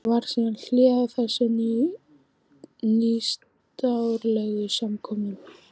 Varð síðan hlé á þessum nýstárlegu skipakomum.